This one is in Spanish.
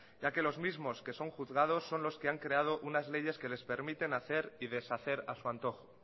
ya que los mismos que son juzgados son los que han creado unas leyes que les permiten hacer y deshacer a su antojo